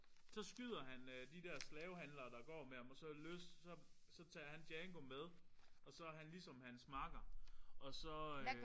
Så skyder han øh de der slavehandlere der går med ham og så løsner så så tager han Django med og så er han ligesom hans makker og så øh